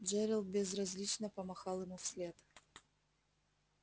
джерилл безразлично помахал ему вслед